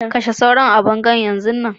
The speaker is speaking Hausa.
Kashe sauro a bango Yan zun nan.